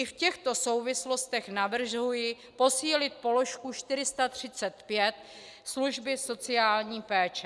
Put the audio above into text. I v těchto souvislostech navrhuji posílit položku 435 služby sociální péče.